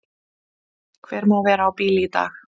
Hver má vera á bíl í dag?